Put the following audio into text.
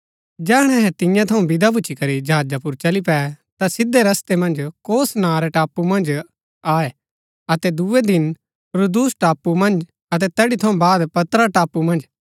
जैहणै अहै तियां थऊँ विदा भूच्ची करी जहाजा पुर चली पै ता सिधै रस्तै मन्ज कोस नां रै टापू मन्ज आये अतै दूये दिन रूदुस टापू मन्ज अतै तैड़ी थऊँ बाद पतरा टापू मन्ज